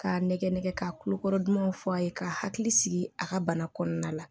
K'a nɛgɛ nɛgɛ ka kulokɔrɔ dumanw fɔ a ye ka hakili sigi a ka bana kɔnɔna la